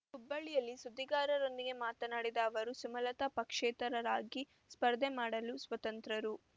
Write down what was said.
ಹುಬ್ಬಳ್ಳಿಯಲ್ಲಿ ಸುದ್ದಿಗಾರರೊಂದಿಗೆ ಮಾತನಾಡಿದ ಅವರು ಸುಮಲತ ಪಕ್ಷೇತರರಾಗಿ ಸ್ಪರ್ಧೆ ಮಾಡಲು ಸ್ವತಂತ್ರರು